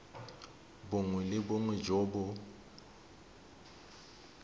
bongwe le bongwe jo bo